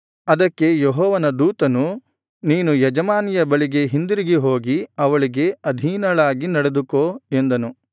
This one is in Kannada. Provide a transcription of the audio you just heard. ಅದಕ್ಕೆ ಯೆಹೋವನ ದೂತನು ನೀನು ಯಜಮಾನಿಯ ಬಳಿಗೆ ಹಿಂದಿರುಗಿ ಹೋಗಿ ಅವಳಿಗೆ ಅಧೀನಳಾಗಿ ನಡೆದುಕೋ ಎಂದನು